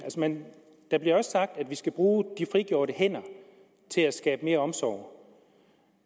der bliver også sagt at vi skal bruge de frigjorte hænder til at skabe mere omsorg